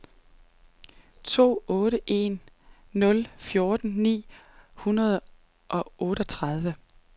to otte en nul fjorten ni hundrede og otteogtredive